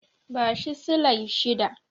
Bashi silai shida.